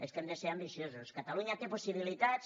és que hem de ser ambiciosos catalunya té possibilitats